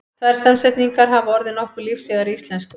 Tvær samsetningar hafa orðið nokkuð lífseigar í íslensku.